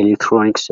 ኤለክትሮኒክስ